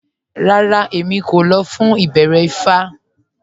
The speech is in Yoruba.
Rárá, Èmí kò lọ̀ fún ìbẹ̀rẹ̀ ifá